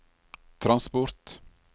transport